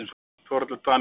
Þórhallur Dan Jóhannes.